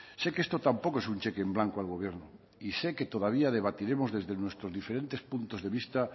sé que esto tampoco es un cheque en blanco al gobierno y sé que todavía debatiremos desde nuestros diferentes puntos de vista